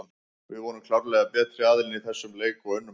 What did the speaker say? Við vorum klárlega betri aðilinn í þessum leik og unnum hann.